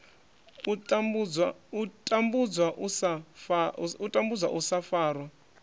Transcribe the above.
u tambudzwa u sa farwa